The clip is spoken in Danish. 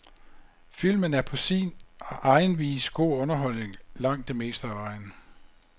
Filmen er på sin egen vis god underholdning langt det meste af vejen.